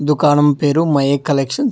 దుకాణం పేరు my A collections .